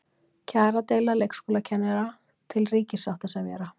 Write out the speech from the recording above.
Kjaradeila leikskólakennara til ríkissáttasemjara